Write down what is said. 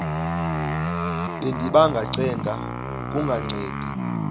bendiba ngacenga kungancedi